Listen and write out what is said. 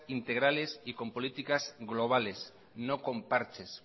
integrales y con políticas globales no con parches